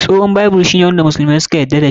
Tsohon Bible shi ne wanda musulmai suka yarda da shi.